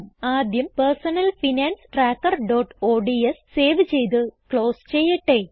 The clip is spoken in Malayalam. ആദ്യം personal finance trackerഓഡ്സ് സേവ് ചെയ്ത് ക്ലോസ് ചെയ്യട്ടെ